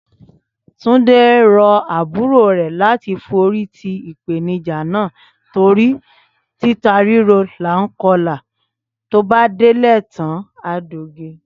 Túndé rọ àbúrò rẹ̀ láti forí ti ìpèníjà náà torí títa ríro là ń kọlà bó délẹ̀ tán á doge